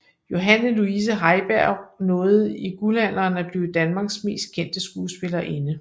Johanne Luise Heiberg nåede i guldalderen at blive Danmarks mest kendte skuespillerinde